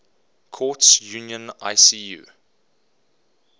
courts union icu